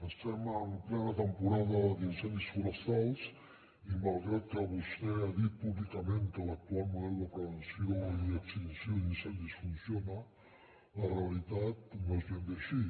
estem en plena temporada d’incendis forestals i malgrat que vostè ha dit públicament que l’actual model de prevenció i extinció d’incendis funciona la realitat no és ben bé així